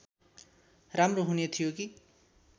राम्रो हुने थियो कि